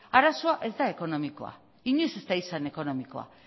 arazoa ez da ekonomikoa inoiz ez da izan ekonomikoa